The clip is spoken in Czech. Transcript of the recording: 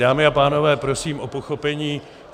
Dámy a pánové, prosím o pochopení.